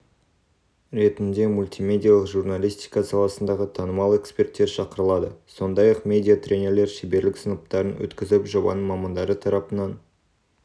ретінде мультимедиялық журналистика саласындағы танымал эксперттер шақырылады сондай-ақ медиа-тренерлер шеберлік сыныптарын өткізіп жобаның мамандары тарапынан